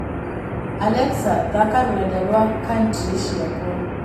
alexa thaaka rũrenda rwa country ciakwa